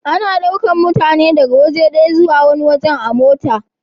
Ana daukan mutane daga waje daya zuwa wani da mota.